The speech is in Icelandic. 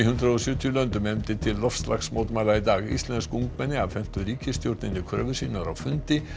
hundrað og sjötíu löndum efndi til loftslagsmótmæla í dag íslensk ungmenni afhentu ríkisstjórninni kröfur sínar á fundi